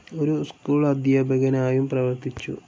ഒരു സ്കൂൾ അധ്യാപകനായും പ്രവർത്തിച്ചു.